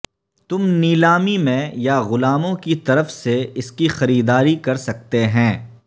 تم نیلامی میں یا غلاموں کی طرف سے اس کی خریداری کر سکتے ہیں